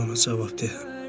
Mən ona cavab verdim.